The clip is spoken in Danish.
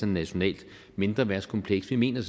nationalt mindreværdskompleks vi mener